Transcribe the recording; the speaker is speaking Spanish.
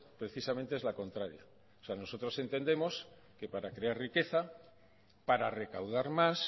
precisamente es la contraria o sea nosotros entendemos que para crear riqueza para recaudar más